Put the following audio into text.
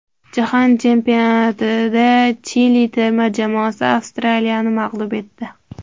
Jahon chempionatida Chili terma jamoasi Avstraliyani mag‘lub etdi.